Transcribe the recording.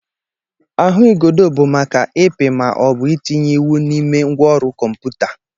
Ahụigodo bụ maka ịpị ma ọ bụ itinye iwu n'ime ngwaọrụ kọmputa.